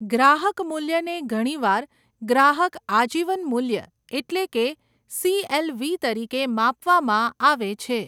ગ્રાહક મૂલ્યને ઘણીવાર ગ્રાહક આજીવન મૂલ્ય એટલે કે સીએલવી તરીકે માપવામાં આવે છે.